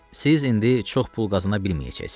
Siz indi çox pul qazana bilməyəcəksiniz.